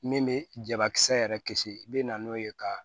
Min bɛ jabakisɛ yɛrɛ kisi i bɛ na n'o ye ka